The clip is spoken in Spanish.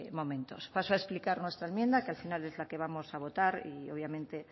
momentos paso a explicar nuestra enmienda que al final es la que vamos a votar y obviamente